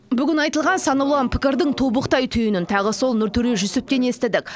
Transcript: бүгін айтылған сан алуан пікірдің тобықтай түйінін тағы сол нұртөре жүсіптен естідік